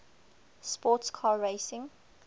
sports car racing